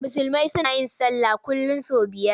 Musulmi suna yin sallah kullum sau biyar.